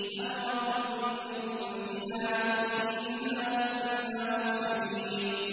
أَمْرًا مِّنْ عِندِنَا ۚ إِنَّا كُنَّا مُرْسِلِينَ